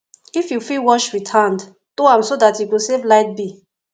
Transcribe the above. if yu fit wash wit hand do am so dat yu go save light bill